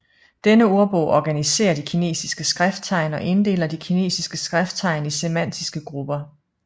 Denne ordbog organiserer de kinesiske skrifttegn og inddeler de kinesiske skrifttegn i semantiske grupper